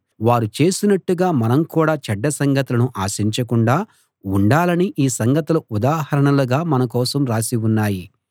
వారు చేసినట్టుగా మనం కూడా చెడ్డ సంగతులను ఆశించకుండా ఉండాలని ఈ సంగతులు ఉదాహరణలుగా మన కోసం రాసి ఉన్నాయి